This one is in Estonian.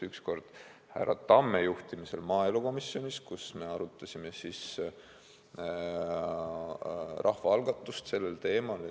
Üks kord oli härra Tamme juhtimisel maaelukomisjonis, kus me arutasime rahvaalgatust sellel teemal.